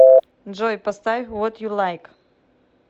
джой поставь вот ю лайк